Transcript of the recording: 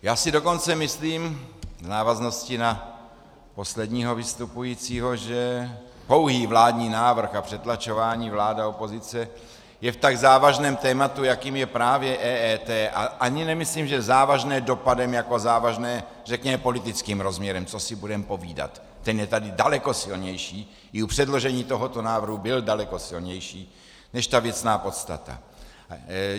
Já si dokonce myslím, v návaznosti na posledního vystupujícího, že pouhý vládní návrh a přetlačování vláda - opozice je v tak závažném tématu, jakým je právě EET, a ani nemyslím, že závažné dopadem jako závažné řekněme politickým rozměrem, co si budeme povídat, ten je tady daleko silnější, i u předložení tohoto návrhu byl daleko silnější než ta věcná podstata.